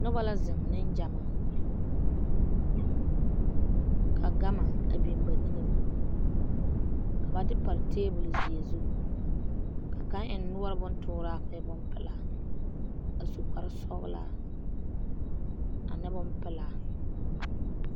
Noba la zeŋ nengyamaa ka gama a biŋ ba niŋe poɔ ka ba de pare tabolzeɛ zu ka kaŋa eŋ noɔre bontooraa ka o e bonpelaa a su kparesɔglaa ane bonpelaa.